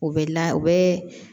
U bɛ la u bɛ